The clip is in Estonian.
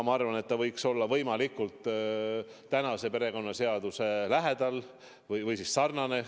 Ma arvan, et see võiks olla võimalikult perekonnaseaduse sõnastuse lähedal, sellega sarnane.